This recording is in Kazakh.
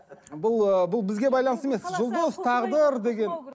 бұл ыыы бұл бізге байланысты емес жұлдыз тағдыр деген